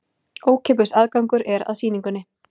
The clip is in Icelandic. Ókeypis aðgangur er að sýningunni